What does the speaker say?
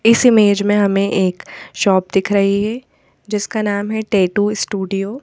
इस इमेज में हमें एक शॉप दिख रही है जिसका नाम है टैटू स्टूडियो।